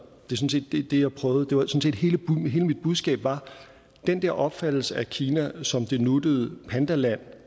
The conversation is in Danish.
det det jeg prøvede hele mit budskab var at den der opfattelse af kina som det nuttede pandaland